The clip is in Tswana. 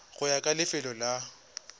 go ya ka lefelo la